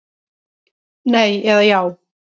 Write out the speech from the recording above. Nei eða já.